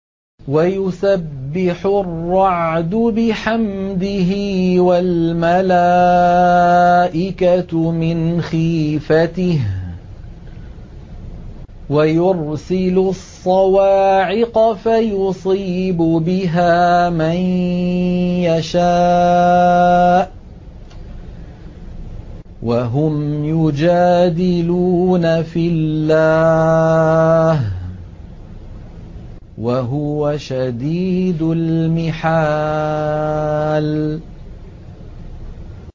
وَيُسَبِّحُ الرَّعْدُ بِحَمْدِهِ وَالْمَلَائِكَةُ مِنْ خِيفَتِهِ وَيُرْسِلُ الصَّوَاعِقَ فَيُصِيبُ بِهَا مَن يَشَاءُ وَهُمْ يُجَادِلُونَ فِي اللَّهِ وَهُوَ شَدِيدُ الْمِحَالِ